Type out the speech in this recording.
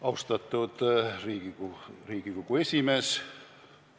Austatud Riigikogu esimees!